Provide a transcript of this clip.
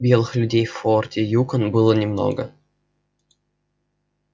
белых людей в форте юкон было немного